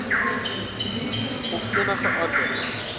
of enige ander